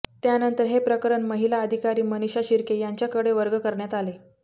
त्यानंतर हे प्रकरण महिला अधिकारी मनिषा शिर्के यांच्याकडे वर्ग करण्यात आले